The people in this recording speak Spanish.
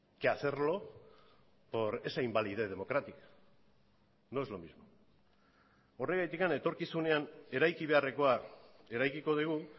que hacerlo por esa invalidez democrática no es lo mismo horregatik etorkizunean eraiki beharrekoa eraikiko dugu